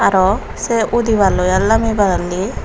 aro sey udiballoi ar lamibailli.